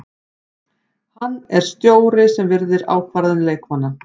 Hann er stjóri sem virðir ákvarðanir leikmanna.